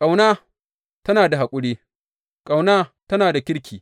Ƙauna tana da haƙuri, ƙauna tana da kirki.